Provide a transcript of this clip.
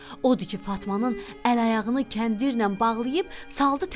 Odur ki, Fatmanın əl-ayağını kəndirlə bağlayıb saldı təndirə.